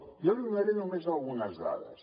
jo n’hi donaré només algunes dades